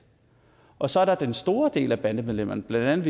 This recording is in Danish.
og så er der den store del af bandemedlemmerne blandt